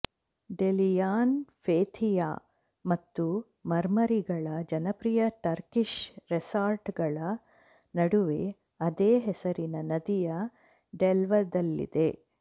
Dalyan Fethiye ಮತ್ತು ಮರ್ಮರಿಗಳ ಜನಪ್ರಿಯ ಟರ್ಕಿಶ್ ರೆಸಾರ್ಟ್ಗಳ ನಡುವೆ ಅದೇ ಹೆಸರಿನ ನದಿಯ ಡೆಲ್ಟದಲ್ಲಿದೆ